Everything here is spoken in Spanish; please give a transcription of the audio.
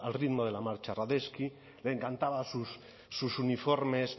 ritmo de la marcha radetzky le encantaba sus uniformes